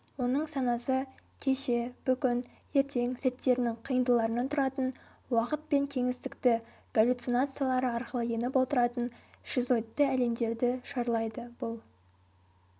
оның санасы кеше-бүгін-ертең сәттерінің қиындыларынан тұратын уақыт пен кеңістікті галлюцинациялары арқылы еніп отыратын шизоидты әлемдерді шарлайды бұл